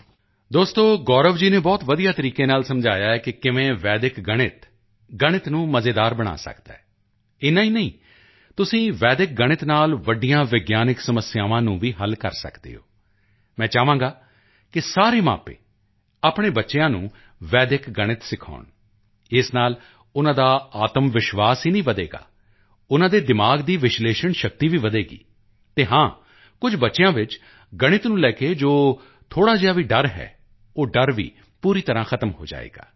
ਦੋਸਤੋ ਗੌਰਵ ਜੀ ਨੇ ਬਹੁਤ ਵਧੀਆ ਤਰੀਕੇ ਨਾਲ ਸਮਝਾਇਆ ਹੈ ਕਿ ਕਿਵੇਂ ਵੈਦਿਕ ਗਣਿਤ ਗਣਿਤ ਨੂੰ ਮਜ਼ੇਦਾਰ ਬਣਾ ਸਕਦਾ ਹੈ ਇੰਨਾ ਹੀ ਨਹੀਂ ਤੁਸੀਂ ਵੈਦਿਕ ਗਣਿਤ ਨਾਲ ਵੱਡੀਆਂ ਵਿਗਿਆਨਕ ਸਮੱਸਿਆਵਾਂ ਨੂੰ ਵੀ ਹੱਲ ਕਰ ਸਕਦੇ ਹੋ ਮੈਂ ਚਾਹਾਂਗਾ ਕਿ ਸਾਰੇ ਮਾਪੇ ਆਪਣੇ ਬੱਚਿਆਂ ਨੂੰ ਵੈਦਿਕ ਗਣਿਤ ਸਿਖਾਉਣ ਇਸ ਨਾਲ ਉਨ੍ਹਾਂ ਦਾ ਆਤਮਵਿਸ਼ਵਾਸ ਹੀ ਨਹੀਂ ਵਧੇਗਾ ਉਨ੍ਹਾਂ ਦੇ ਦਿਮਾਗ਼ ਦੀ ਵਿਸ਼ਲੇਸ਼ਣ ਸ਼ਕਤੀ ਵੀ ਵਧੇਗੀ ਅਤੇ ਹਾਂ ਕੁਝ ਬੱਚਿਆਂ ਵਿੱਚ ਗਣਿਤ ਨੂੰ ਲੈ ਕੇ ਜੋ ਵੀ ਥੋੜ੍ਹਾ ਜਿਹਾ ਡਰ ਹੈ ਉਹ ਡਰ ਵੀ ਪੂਰੀ ਤਰ੍ਹਾਂ ਖ਼ਤਮ ਹੋ ਜਾਵੇਗਾ